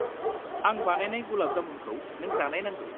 आं बानायनाय गुलाब जामुनखौ नों जानायनांगौ।